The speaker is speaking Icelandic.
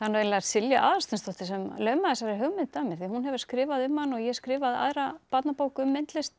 eiginlega Silja Aðalsteinsdóttir sem laumaði þessari hugmynd að mér því hún hefur skrifað um hann og ég skrifaði aðra barnabók um myndlist